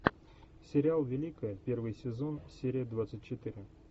сериал великая первый сезон серия двадцать четыре